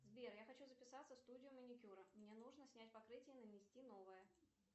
сбер я хочу записаться в студию маникюра мне нужно снять покрытие и нанести новое